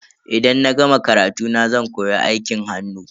Idan na gama karatuna zan koyi aikin hannu.